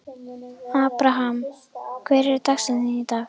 Abraham, hver er dagsetningin í dag?